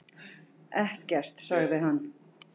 Ekkert, sagði hann.